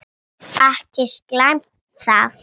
Ekki slæmt það.